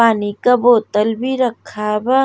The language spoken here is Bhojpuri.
पानी का बोतल भी रखा बा।